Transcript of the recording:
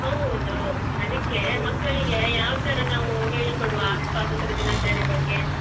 ಹೌದು ಅದಕ್ಕೆ ಮಕ್ಕಳಿಗೆ ಯಾವ್ತಾರ ನಾವ್ ಹೇಳಿಕೊಡುವ ಸ್ವಾತಂತ್ರ ದಿನಾಚರಣೆಯ ಬಗ್ಗೆ.